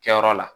Kɛyɔrɔ la